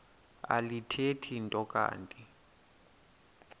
alithethi nto kanti